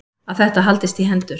Að þetta haldist í hendur.